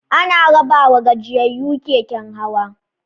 Ana rabawa gajiyayyu keken hawa.